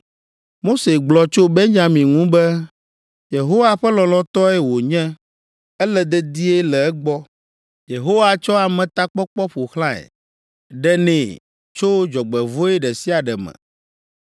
Mose gblɔ tso Benyamin ŋu be, “Yehowa ƒe lɔlɔ̃tɔe wònye ele dedie le egbɔ Yehowa tsɔ ametakpɔkpɔ ƒo xlãe, ɖenɛ tso dzɔgbevɔ̃e ɖe sia ɖe me.”